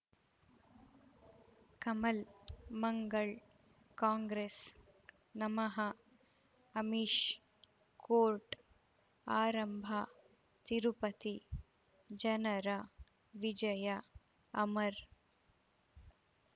ಕಮಲ್ ಮಂಗಳ್ ಕಾಂಗ್ರೆಸ್ ನಮಃ ಅಮಿಷ್ ಕೋರ್ಟ್ ಆರಂಭ ತಿರುಪತಿ ಜನರ ವಿಜಯ ಅಮರ್